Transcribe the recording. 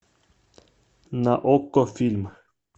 на окко фильм